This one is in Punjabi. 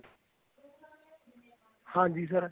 ਹਾਂਜੀ sir